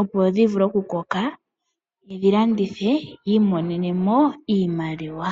opo dhivule okukoka , yedhi landithe yiimonenemo iiimaliwa .